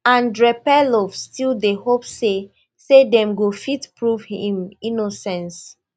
andrey perlov still dey hope say say dem go fit prove im innocence